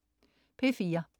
P4: